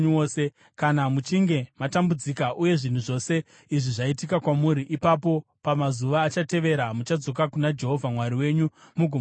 Kana muchinge matambudzika uye zvinhu zvose izvi zvaitika kwamuri, ipapo pamazuva achatevera muchadzoka kuna Jehovha Mwari wenyu mugomuteerera.